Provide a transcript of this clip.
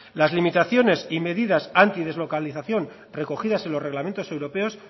las limitaciones y medidas antideslocalización recogidas en los reglamentos europeos